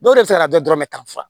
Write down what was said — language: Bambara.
Dɔw yɛrɛ bɛ se ka dɔ dɔrɔmɛ tan fa